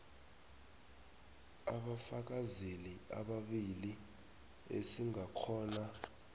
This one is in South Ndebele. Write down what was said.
abafakazeli ababili esingakghona